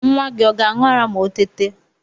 Nwa gi ọ ga-aṇ̇ụ ara ma o tete